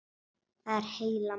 Það er heila málið.